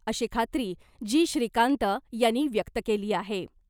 अशी खात्री जी .श्रीकांत यांनी व्यक्त केली आहे .